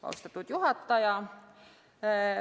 Austatud juhataja!